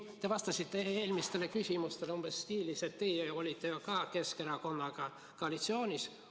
Te vastasite eelmistele küsimustele umbes selles stiilis, et teie olite ju ka Keskerakonnaga koalitsioonis.